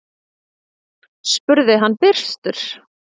spurði hann byrstur.